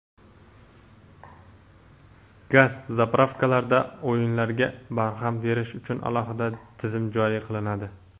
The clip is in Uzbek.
Gaz "zapravka"larda "o‘yin"larga barham berish uchun alohida tizim joriy qilinadi.